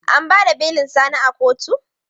An ba da belin Sani a koto?